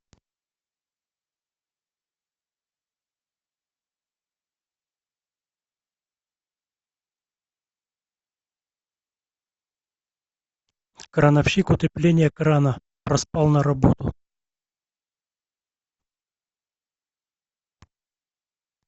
крановщик утепление крана проспал на работу